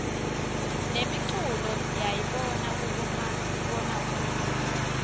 nemiculo siyayibona kubomabonakudze